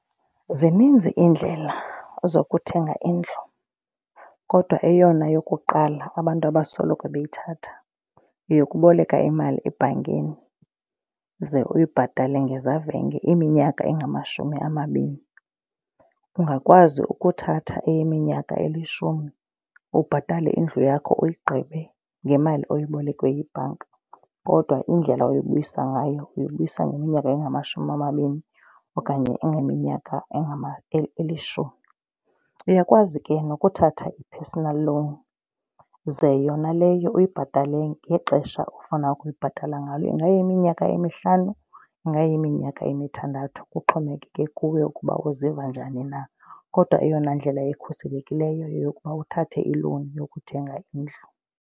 Zininzi iindlela zokuthenga indlu kodwa eyona yokuqala abantu abasoloko bayithatha yeyokuboleka imali ebhankini ze uyibhatale ngezavenge iminyaka engamashumi amabini. Ungakwazi ukuthatha eyeminyaka elishumi ubhatale indlu yakho uyigqibe ngemali oyibolekwe yibhanka. Kodwa indlela oyibuyisa ngayo uyibuyisa iminyaka engamashumi amabini okanye iminyaka elishumi. Uyakwazi ke nokuthatha i-personal loan ze yona leyo uyibhatale ngexesha ofuna ukuyibhatala ngalo. Ingayiminyaka emihlanu ingayiminyaka emithandathu kuxhomekeke kuwe ukuba uziva njani na. Kodwa eyona ndlela ikhuselekileyo yeyokuba uthathe ilowuni yokuthenga indlu.